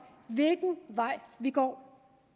hvilken vej vi går